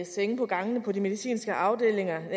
senge på gangene på de medicinske afdelinger